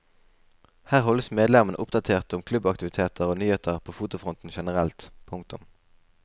Her holdes medlemmene oppdatert om klubbaktiviteter og nyheter på fotofronten generelt. punktum